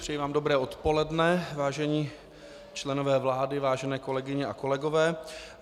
Přeji vám dobré odpoledne, vážení členové vlády, vážené kolegyně a kolegové.